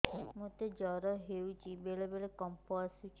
ମୋତେ ଜ୍ୱର ହେଇଚି ବେଳେ ବେଳେ କମ୍ପ ଆସୁଛି